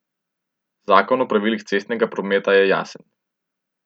Zakon o pravilih cestnega prometa je jasen.